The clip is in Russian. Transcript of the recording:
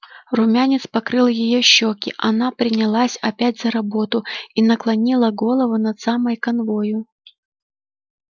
румянец покрыл её щеки она принялась опять за работу и наклонила голову над самой канвою